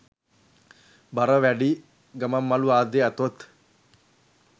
බර වැඩි ගමන්මළු ආදිය ඇතොත්